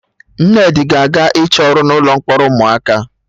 Nnedi ga-aga ịchọ ọrụ na ụlọ mkpọrọ ụmụaka